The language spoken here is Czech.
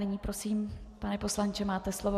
Nyní prosím, pane poslanče, máte slovo.